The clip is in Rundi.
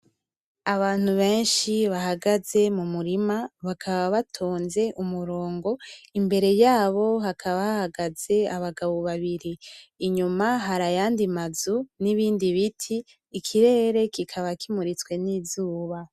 Abantu benshi bahagaze mu murima bakaba batonze umurongo, imbere yabo hakaba hahagaze abagabo babiri. Inyuma har'ayandi mazu n'ibindi biti, ikirere kikaba kimuritswe n'izuba